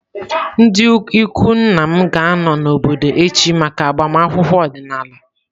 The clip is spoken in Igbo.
Ndị ikwu nna m ga-anọ n’obodo echi maka agbamakwụkwọ ọdịnala.